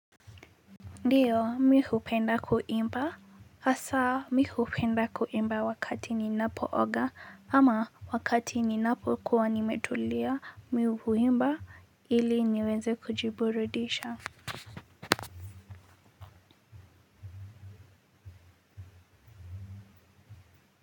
Ndiyo, mimi hupenda kuimba, hasa mimi hupenda kuimba ninapooga ama wakati ninapokuwa nimetulia. Mimi huimba ili niweze kujiburudisha.